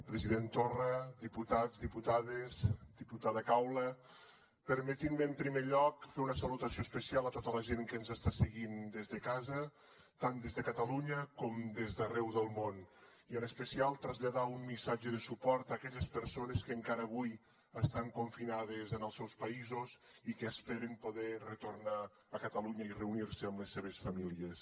president torra diputats diputades diputada caula permetin me en primer lloc fer una salutació especial a tota la gent que ens està seguint des de casa tant des de catalunya com des d’arreu del món i en especial traslladar un missatge de suport a aquelles persones que encara avui estan confinades en els seus països i que esperen poder retornar a catalunya i reunir se amb les seves famílies